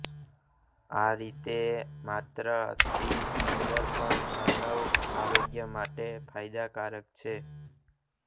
આ રેતી માત્ર અતિ સુંદર પણ માનવ આરોગ્ય માટે ફાયદાકારક છે